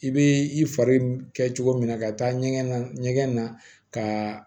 I bɛ i fari kɛ cogo min na ka taa ɲɛgɛn na ɲɛgɛn na ka